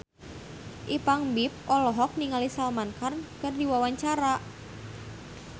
Ipank BIP olohok ningali Salman Khan keur diwawancara